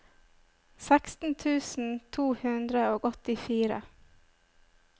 seksten tusen to hundre og åttifire